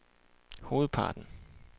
hovedparten